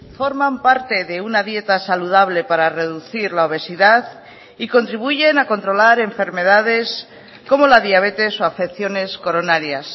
forman parte de una dieta saludable para reducir la obesidad y contribuyen a controlar enfermedades como la diabetes o afecciones coronarias